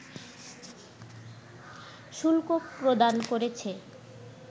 শুল্ক প্রদান করেছে